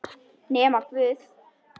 Nema guð.